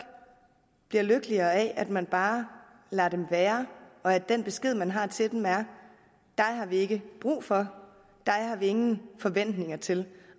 bliver lykkeligere af at man bare lader dem være og at den besked man har til dem er dig har vi ikke brug for dig har vi ingen forventninger til